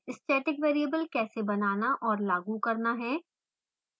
static variable कैसे बनाना और लागू करना है